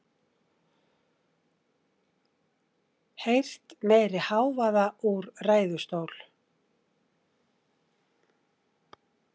Heyrt meiri hávaða úr ræðustól